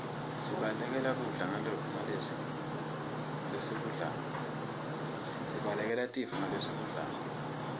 sibalekele tifo ngalesikudlako